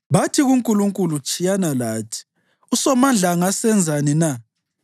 Bathi kuNkulunkulu, ‘Tshiyana lathi! USomandla angasenzani na?’